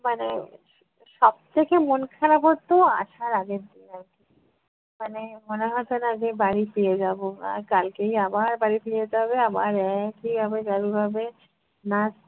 মানে সব থেকে মন খারাপ হত আসার আগের দিন আর কী। মানে মনে হতো না যে বাড়ি ফিরে যাব আহ কালকেই আবার বাড়ি ফিরে যেতে হবে আবার এক ই আবার চালু হবে, না